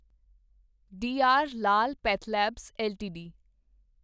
D R Lal PathLabs LTD